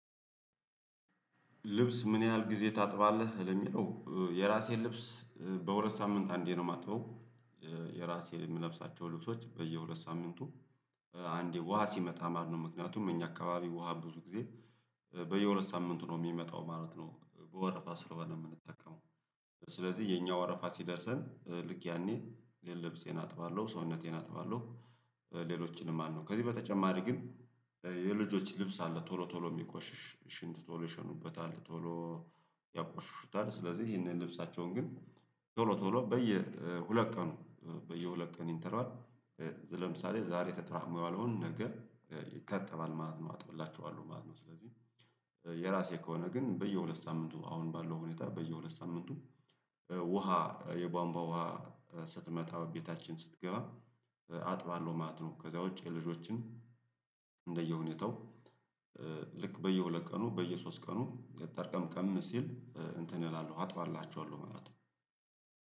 ልብስ ምን ያህል ጊዜ ታጥባለህ ለሚለው የራሴን ልብስ በሁለት ሳምንት አንዴ ነው የማጥበው የራሴን የምለብሳቸው ልብሶች በየሁለት ሳምንቱ አንዴ ውሃ ሲመጣ ማለት ነው ምክንያቱም እኛ አካባቢ ውሃ ብዙ ጊዜ በየሁለት ሳምንቱ ነው የሚመጣው ማለት ነው በወረፋ ስለሆነ የምንጠቀመው ስለዚህ የኛ ወረፋ ሲደርሰን ልክ ያኔ የለብሴን አጥባለሁ ሰውነቴን አጥባለሁ ሌሎችንም ማለት ነው ከዚህ በተጨማሪ ግን የልጆች ልብስ አለ ቶሎ ቶሎ የሚቆሽሽ ሽንት ቶሎ ይሸኑበታል ቶሎ ያቆሽሹታል ስለዚህ ይሄንን ልብሳቸውን ግን ቶሎ ቶሎ በየ ሁለት ቀኑ በየሁለት ቀን ኢንተርቫል ለምሳሌ ዛሬ ተጠራቅሞ የዋለውን ነገር ይታጠባል ማለት ነው አጥብላቸዋለሁ ማለት ነው ስለዚህ የራሴ ከሆነ ግን በየሁለት ሳምንቱ አሁን ባለው ሁኔታ በየሁለት ሳምንቱ ውሃ የቧንቧ ውሃ ስትመጣ ቤታችን ስትገባ አጥባለሁ ማለት ነው ከዛ ውጪ የልጆችን እንደየሁኔታው ልክ በየሁለት ቀኑ በየሶስት ቀኑ ጠርቀምቀም ሲል እንትን እላለሁ አጥባላቸዋለሁ ማለት ነው።